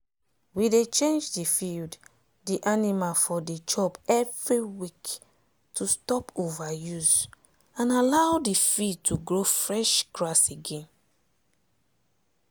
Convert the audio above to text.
we dey change d field d animal for dey chop every week to stop over use and allow d field to grow fresh grass again.